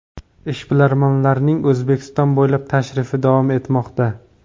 Ishbilarmonlarning O‘zbekiston bo‘ylab tashrifi davom etmoqda.